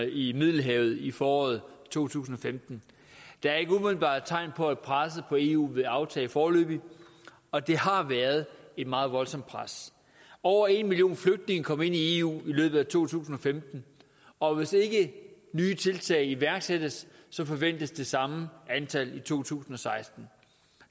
i middelhavet i foråret to tusind og femten der er ikke umiddelbart tegn på at presset på eu vil aftage foreløbig og det har været et meget voldsomt pres over en million flygtninge kom ind i eu i løbet af to tusind og femten og hvis ikke nye tiltag iværksættes så forventes det samme antal i to tusind og seksten